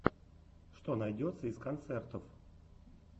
что найдется из концертов